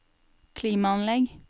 klimaanlegg